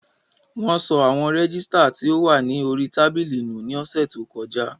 Wón sọ àwọn rẹ́gísítà tí ó wà ní orí tábìlì nù ní ọ̀sẹ̀ tí ó kọjá